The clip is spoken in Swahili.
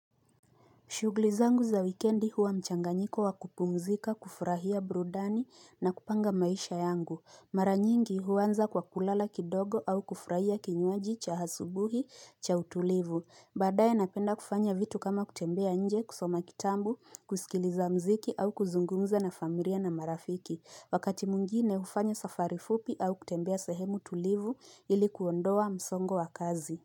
Shughuli zangu za wikendi huwa mchanganyiko wa kupumzika, kufurahia burudani na kupanga maisha yangu. Mara nyingi huanza kwa kulala kidogo au kufurahia kinywaji cha asubuhi cha utulivu. Baadaye napenda kufanya vitu kama kutembea nje, kusoma kitabu, kusikiliza muziki au kuzungumza na familia na marafiki. Wakati mwngine hufanya safari fupi au kutembea sehemu tulivu ili kuondoa msongo wa kazi.